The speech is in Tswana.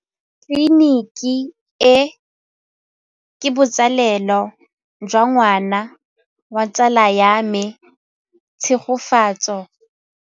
Tleliniki e, ke botsalêlô jwa ngwana wa tsala ya me Tshegofatso.